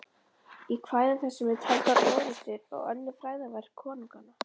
Í kvæðum þessum eru taldar orrustur og önnur frægðarverk konunganna.